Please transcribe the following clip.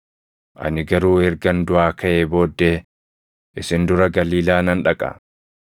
Ani garuu ergan duʼaa kaʼee booddee isin dura Galiilaa nan dhaqa.”